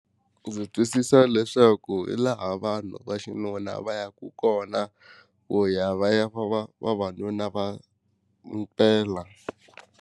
Ndzi twisisa leswaku hi laha vanhu va xinuna va yaku kona ku ya va ya va vavanuna va mpela.